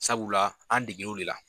Sabula an degele o de la.